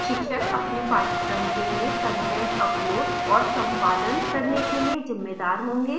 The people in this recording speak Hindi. शिक्षक अपने पाठ्यक्रम के लिए कंटेंट अपलोड और संपादन करने के लिए जिम्मेदार होंगे